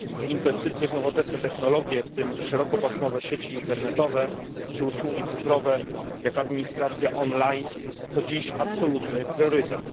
Inwestycje w nowoczesne technologie, w tym szerokopasmowe sieci internetowe czy usługi cyfrowe, jak administracja online, to dziś absolutny priorytet.